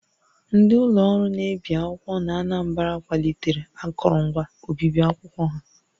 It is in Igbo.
Ndị ụlọ ọrụ na-ebi akwụkwọ n'Anambra kwalitere akụrụngwa obibi akwụkwọ ha